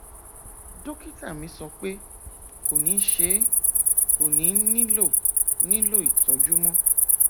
dókítà mi sọ pé kò ní ṣe é kò ní nílò nílò ìtọjú mọ